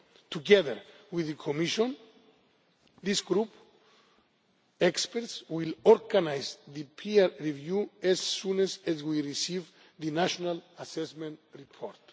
Together with the Commission, this group of experts will organise the peer review as soon as we receive the national assessment report.